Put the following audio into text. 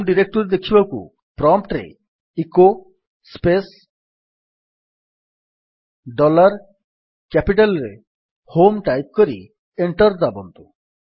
home directory ଦେଖିବାକୁ prompt ରେ echo space dollar capital ରେ ହୋମ୍ ଟାଇପ୍ କରି ଏଣ୍ଟର୍ ଦାବନ୍ତୁ